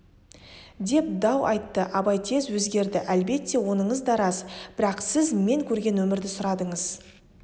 деп дау айтты абай тез өзгерді әлбетте оныңыз да рас бірақ сіз мен көрген өмірді сұрадыңыз